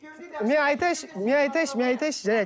мен айтайыншы мен айтайыншы мен айтайыншы жарайды